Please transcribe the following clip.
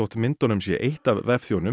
myndunum sé eytt af